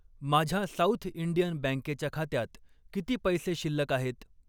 माझ्या South Indian बँकेच्या खात्यात किती पैसे शिल्लक आहेत?